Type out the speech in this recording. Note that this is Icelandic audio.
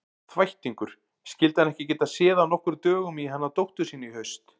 Þvættingur, skyldi hann ekki geta séð af nokkrum dögum í hana dóttur sína í haust.